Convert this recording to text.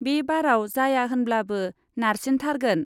बे बाराव जाया होनब्लाबो नारसिनथारगोन।